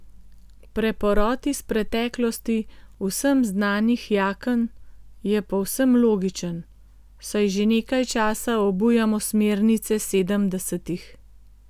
Preporod iz preteklosti vsem znanih jaken je povsem logičen, saj že nekaj časa obujamo smernice sedemdesetih.